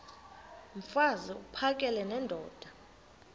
mfaz uphakele nendoda